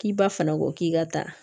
K'i ba fana ko k'i ka taa